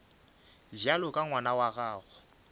bjalo ka ngwana wa gago